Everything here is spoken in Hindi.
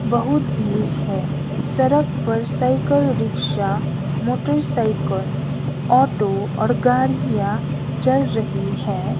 बहुत भीड़ है सड़क पर साइकिल रिक्शा मोटरसाइकिल ऑटो और गाड़ियां चल रही है।